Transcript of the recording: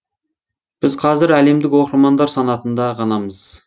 біз қазір әлемдік оқырмандар санатында ғанамыз